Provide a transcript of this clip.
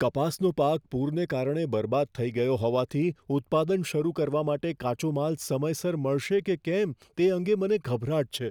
કપાસનો પાક પૂરને કારણે બરબાદ થઈ ગયો હોવાથી ઉત્પાદન શરૂ કરવા માટે કાચો માલ સમયસર મળશે કે કેમ તે અંગે મને ગભરાટ છે.